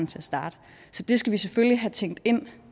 til at starte så det skal vi selvfølgelig have tænkt ind